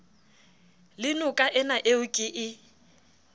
le nokaena eo ke e